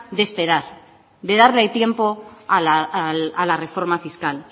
de esperar de darle tiempo a la reforma fiscal